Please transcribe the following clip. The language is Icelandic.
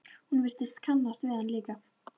Hún virtist kannast við hann líka.